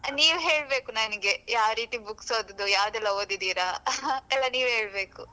ನೀವು ಹೇಳ್ಬೇಕು ನನಿಗೆ ಯಾವ್ ರೀತಿ books ಓದುದು ಯಾವುದೆಲ್ಲ ಓದಿದ್ದೀರಾ ಎಲ್ಲ ನೀವೇ ಹೇಳ್ಬೇಕು.